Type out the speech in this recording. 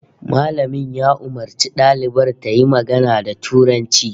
Malamin ya umarci dalibar tayi magana da Turanci